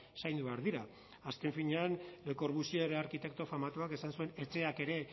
zaindu behar dira azken finean le corbusier arkitekto famatuak esan zuen etxeak ere